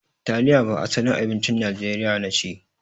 Taliya ba asalin abincin najeriya nace.